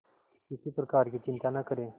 किसी प्रकार की चिंता न करें